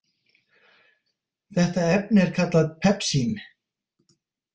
Þetta efni er kallað pepsín.